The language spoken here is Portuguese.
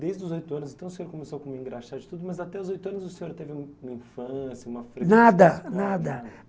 Desde os oito anos, então, o senhor começou com engraxate de tudo, mas até os oito anos o senhor teve uma infância, uma... Nada, nada.